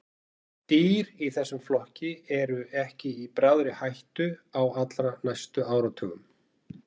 Dýr í þessum flokki eru ekki í bráðri hættu á allra næstu áratugum.